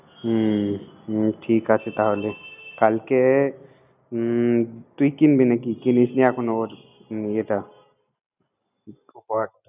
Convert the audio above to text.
হুম ঠিক আছে তাহলে। কালকে তুই কিনবি নাকি। কিনিস নাই এখনো